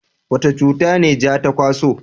wani cuta ne ja ta kwaso?